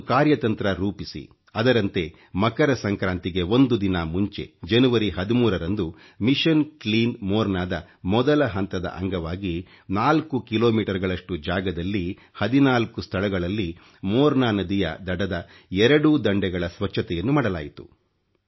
ಒಂದು ಕಾರ್ಯತಂತ್ರ ರೂಪಿಸಿ ಅದರಂತೆ ಮಕರ ಸಂಕ್ರಾಂತಿಗೆ ಒಂದು ದಿನ ಮುಂಚೆ ಜನವರಿ 13 ರಂದು ಒissioಟಿ ಅಟeಚಿಟಿ ಒoಡಿಟಿಚಿ ದ ಮೊದಲ ಹಂತದ ಅಂಗವಾಗಿ 4 ಕಿಲೋಮೀಟರ್ ಗಳಷ್ಟು ಜಾಗದಲ್ಲಿ 14 ಸ್ಥಳಗಳಲ್ಲಿ ಮೋರ್ನಾ ನದಿಯ ದಡದ ಎರಡೂ ದಂಡೆಗಳ ಸ್ವಚ್ಚತೆಯನ್ನು ಮಾಡಲಾಯಿತು